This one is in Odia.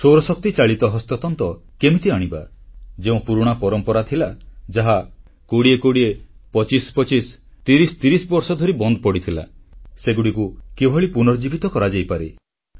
ସୌରଶକ୍ତିଚାଳିତ ହସ୍ତତନ୍ତ କେମିତି ଆଣିବା ଯେଉଁ ପୁରୁଣା ପରମ୍ପରା ଥିଲା ଯାହା 20 25 30 ବର୍ଷଧରି ବନ୍ଦ ପଡ଼ିଥିଲା ସେଗୁଡ଼ିକୁ କିଭଳି ପୁନର୍ଜୀବିତ କରାଯାଇପାରେ